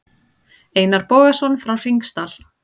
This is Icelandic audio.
Einar Bogason frá Hringsdal.